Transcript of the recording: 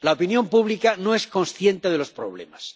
La opinión pública no es consciente de los problemas.